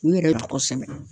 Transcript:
K'u yɛrɛ tɔgɔ sɛbɛn